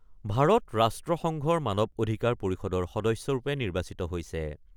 ভাৰত ৰাষ্ট্ৰসংঘৰ মানৱ অধিকাৰ পৰিষদৰ সদস্যৰূপে নিৰ্বাচিত হৈছে।